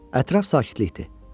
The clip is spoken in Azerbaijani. Ətraf sakitlikdir.